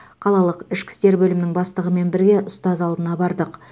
қалалық ішкі істер бөлімінің бастығымен бірге ұстаз алдына бардық